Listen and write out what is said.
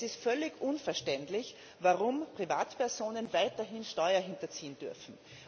Es ist völlig unverständlich, warum Privatpersonen weiterhin Steuern hinterziehen dürfen.